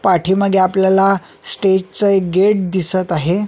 पाठीमागे आपल्याला स्टेज च एक गेट दिसत आहे.